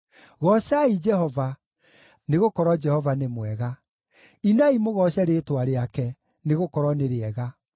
Goocai Jehova, nĩgũkorwo Jehova nĩ mwega; inai mũgooce rĩĩtwa rĩake, nĩgũkorwo nĩ rĩega.